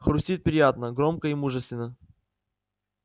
хрустит приятно громко и мужественно